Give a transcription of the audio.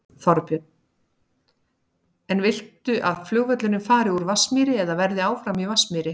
Þorbjörn: En viltu að flugvöllurinn fari úr Vatnsmýri eða verði áfram í Vatnsmýri?